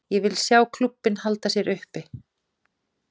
Ég vil sjá klúbbinn halda sér uppi.